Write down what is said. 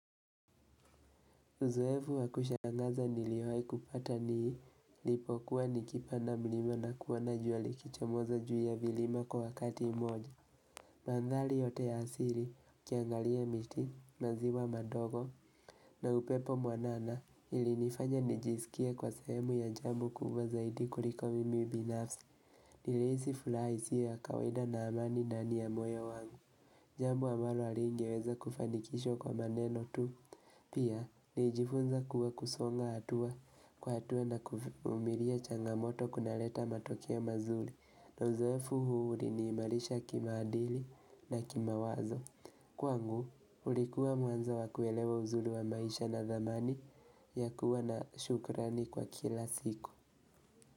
Uzoefu wakushangaza niliwayi kupata nii, lipo kuwa nikipa nda mlima na kuo na jua likichamoza juu ya vilima kwa wakati moja. Mandhali yote ya asili, kiangalia miti, maziwa madogo, na upepo mwanana ili nifanya nijisikie kwa sehemu ya jambo kubwa zaidi kuliko mimi binafsi, niliisi fulaha isi yo kawaida na amani ndani ya moyo wangu. Jambo ambalo alingeweza kufanikishwa kwa maneno tu Pia, niijifunza kuwa kusonga atua kwa atua na kuvumilia changamoto kuna leta matokeo mazuli na uzoefu huu uli ni imalisha kima adili na kima wazo Kwa ngu, ulikuwa mwanzo wakuelewa uzuli wa maisha na zamani ya kuwa na shukrani kwa kila siku.